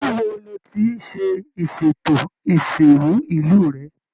ilu wo lo tí ṣe ìsètò isinru ìlú rẹ?